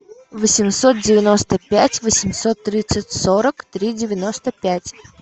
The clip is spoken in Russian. восемьсот девяносто пять восемьсот тридцать сорок три девяносто пять